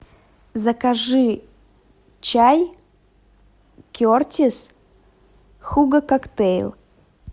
закажи чай кертис хуго коктейль